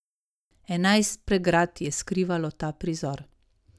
Enajst pregrad je skrivalo ta prizor.